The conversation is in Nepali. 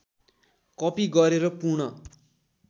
कपि गरेर पूर्ण